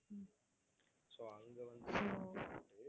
so அங்க வந்து